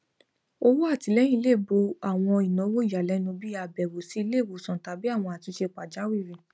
ọwọ atilẹyin lè bo àwọn ìnáwó ìyàlénu bíi àbẹwò sí iléìwòsàn tàbí àwọn àtúnṣe pàjáwìrì